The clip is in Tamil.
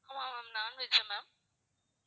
ஆமா ma'am non veg ma'am